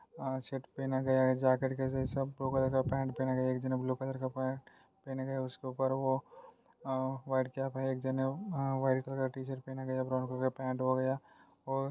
अ shirt पहना गया है जैकेट के जैसा ब्लू कलर का पैंट पहना गया है। एक जन वो ब्लू कलर का पैंट पहना गया उसके उपर वो अ व्हाइट कैप है। एक जन है वो व्हाइट कलर पहना गया है। ब्राउन कलर का पैंट और--